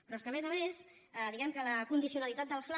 però és que a més a més diguem que la condicionalitat del fla